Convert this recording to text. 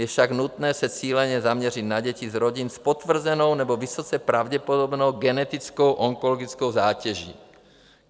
Je však nutné se cíleně zaměřit na děti z rodin s potvrzenou nebo vysoce pravděpodobnou genetickou onkologickou zátěží.